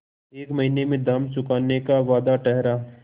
एक महीने में दाम चुकाने का वादा ठहरा